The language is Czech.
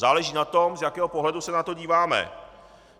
Záleží na tom, z jakého pohledu se na to díváme.